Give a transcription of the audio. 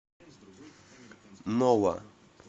нова